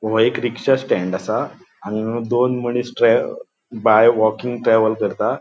वो एक रिक्शा स्टैन्ड असा. हांगा दोन मनिस ट्रे बाय वॉकिंग ट्रैवल करता.